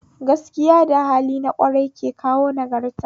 Gaskiya da hali na ƙwarai ke kawo nagarta